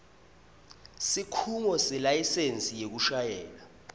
sikhungo selayisensi yekushayela